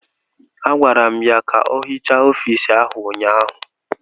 Agwara m ya ka ọ hichaa ọfiisi ahụ ụnyaahụ!